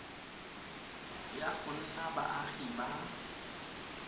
ya go nna baagi ba